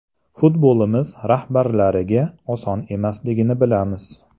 Futbolimiz rahbarlariga oson emasligini bilamiz.